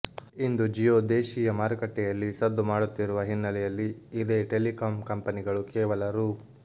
ಇಂದು ಜಿಯೋ ದೇಶಿಯ ಮಾರುಕಟ್ಟೆಯಲ್ಲಿ ಸದ್ದು ಮಾಡುತ್ತಿರುವ ಹಿನ್ನಲೆಯಲ್ಲಿ ಇದೇ ಟೆಲಿಕಾಂ ಕಂಪನಿಗಳು ಕೇವಲ ರೂ